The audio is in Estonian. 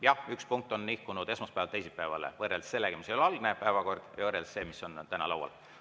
Jah, üks punkt on nihkunud esmaspäevalt teisipäevale, kui võrrelda algset päevakorda sellega, mis on täna laual.